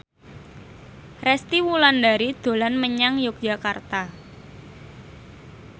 Resty Wulandari dolan menyang Yogyakarta